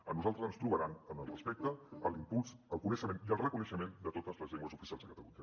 a nosaltres ens trobaran en el respecte a l’impuls al coneixement i al reconeixement de totes les llengües oficials de catalunya